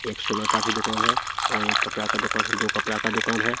एक सोना का भी दूकान है और एक कपड़ा का दूकान है दो कपड़ा का दूकान है।